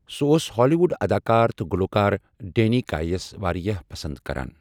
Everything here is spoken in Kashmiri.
سہٖٗ اوس ہالیٖوُڈ اَداکار تہٕ گُلوکار ڈینی کاے یس وارِیاہ پَسنٛد کَران ۔